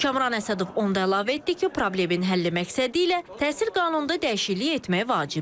Kamran Əsədov onu da əlavə etdi ki, problemin həlli məqsədi ilə təhsil qanununda dəyişiklik etmək vacibdir.